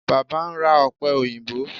Baba n ra ope oyinbo